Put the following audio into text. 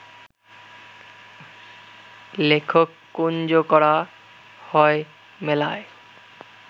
লেখক কুঞ্জ করা হয় মেলায়